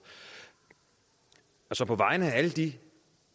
så på vegne af alle de